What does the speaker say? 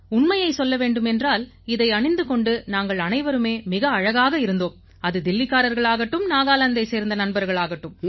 உண்மையைச் சொல்ல வேண்டும் என்றால் இதை அணிந்து கொண்டு நாங்கள் அனைவருமே மிக அழகாக இருந்தோம் அது தில்லிக்காரர்கள் ஆகட்டும் நாகாலாந்தைச் சேர்ந்த நண்பர்கள் ஆகட்டும்